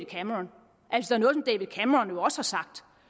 cameron også har sagt